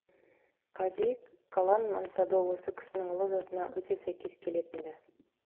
қази калан мансабы осы кісінің ұлы затына өте сәйкес келетін ді